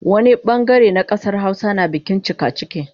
Wani bangare na kasar Hausa na bikin cikaciki